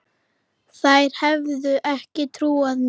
Þær hefðu ekki trúað mér.